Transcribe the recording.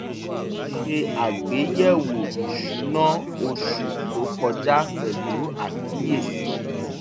mo ṣe àgbéyẹ̀wò ìṣúná oṣù tó kọjá pẹ̀lú àkíyèsí